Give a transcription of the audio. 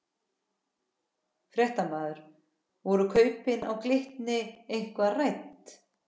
Fréttamaður: Voru kaupin á Glitni eitthvað rædd?